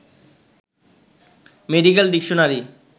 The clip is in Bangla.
medical dictionary